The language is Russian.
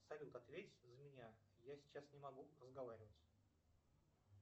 салют ответь за меня я сейчас не могу разговаривать